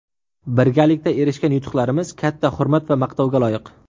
Birgalikda erishgan yutuqlarimiz katta hurmat va maqtovga loyiq.